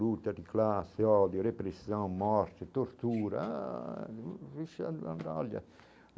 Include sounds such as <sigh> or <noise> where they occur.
Luta de classe, ódio, repressão, morte, tortura ah <unintelligible> olha.